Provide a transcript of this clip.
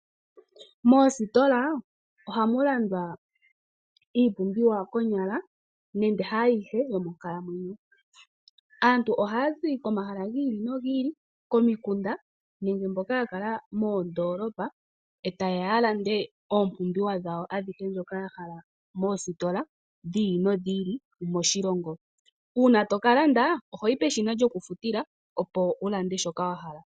Moositola, oha mu landwa iipumbiwa konyala nande haayihe yomonkalamwenyo. Aantu ohaya zi komahala gi i li nogi i li, komikunda nenge mboka ya kala moondolopa eta yeya ya lande oompumbiwa dhawo adhihe ndhoka ya hala moositola dhi i li nodhi i li moshilongo. Uuna toka landa oho yi peshina lyokufutila opo wu lande shoka wa hala.